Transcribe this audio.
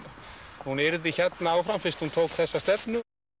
hún yrði hérna áfram fyrst hún tók þessa stefnu